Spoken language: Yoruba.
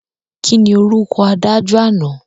Kíni orúkọ adájọ́ àná?